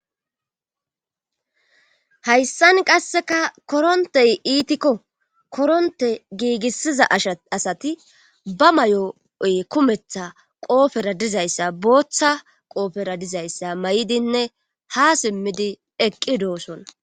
hayssan qasseka korontey iitikko koronte giigissiza ash asati ba may7o7oy kumetha qoofera dizayssa booththa qoofera dizayssa may7idinne ha simmidi eqqi dooson